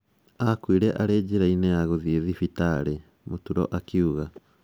"Aakuire arĩ njĩra-inĩ ya gũthiĩ thibitarĩ".Muturo akiuga